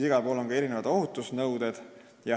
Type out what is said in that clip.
Igal pool on ka erinevad ohutusnõuded.